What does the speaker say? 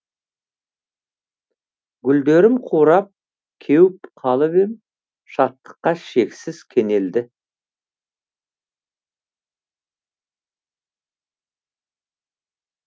гүлдерім қурап кеуіп қалып ем шаттыққа шексіз кенелді